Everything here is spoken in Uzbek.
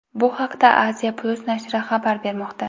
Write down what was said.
Bu haqda Asia-Plus nashri xabar bermoqda .